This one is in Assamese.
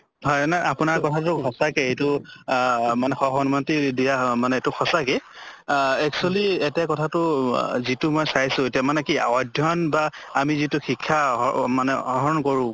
হয় নাই আপোনাৰ কথাটো সঁচাকে এইটো আহ মানে সসন্মতি দিয়া অ মানে এইটো সঁচাকে আহ actually এতে কথাটো অহ যিটো মই চাইছো এতিয়া মানে কি অধ্য়য়ন বা আমি যিটো শিক্ষা অহ মানে আহৰণ কৰোঁ